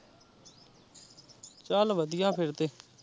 ਚੱਲ ਵਧੀਆ ਫਿਰ ਤੇ।